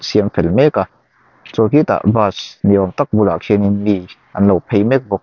siam fel mek a chuan khitah bus ni awm tak bulah khianin mi an lo phei mek bawk.